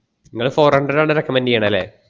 ഇങ്ങൾ four hundred ആണ് recommend ചെയണേ അല്ലെ